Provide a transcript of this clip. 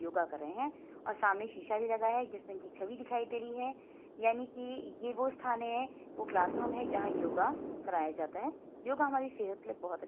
योगा कर रहे हैं और सामने शीशा भी लगा है जिसमें छवि दिखाई दे रही है यानी कि यह वह स्थान है वह क्लासरूम है जहां योगा कराया जाता है | योगा हमारी सेहत के लिए बोहोत अच्--